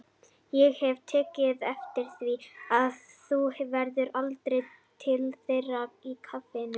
Ég hef tekið eftir því að þú ferð aldrei til þeirra í kaffinu.